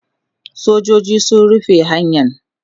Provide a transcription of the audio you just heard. sojoji sun rufe hanyan